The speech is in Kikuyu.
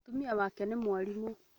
Mũtumia wake nĩ mwarimu